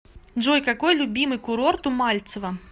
джой какой любимый курорт у мальцева